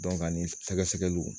ani sɛgɛsɛgɛliw